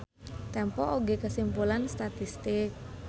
Tempo oge kasimpulan statistik.